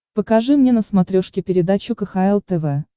покажи мне на смотрешке передачу кхл тв